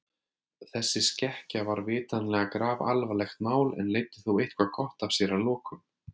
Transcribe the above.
Þessi skekkja var vitanlega grafalvarlegt mál en leiddi þó eitthvað gott af sér að lokum.